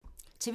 TV 2